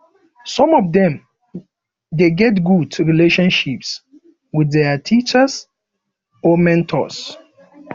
some of dem de get good relationships with their teachers or memtors